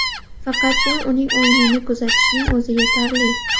Faqatgina uning o‘yinini kuzatishning o‘zi yetarli.